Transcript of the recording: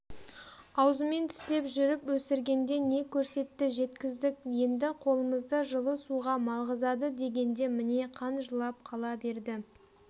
аузымен тістеп жүріп өсіргенде не көрсетті жеткіздік енді қолымызды жылы суға малғызады дегенде міне қан жылап қала берді